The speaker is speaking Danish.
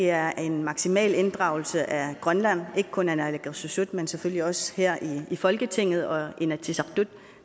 er en maksimal inddragelse af grønland ikke kun af naalakkersuisut men selvfølgelig også her i folketinget og i inatsisartut